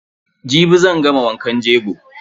Jibi zan gama wankan jego.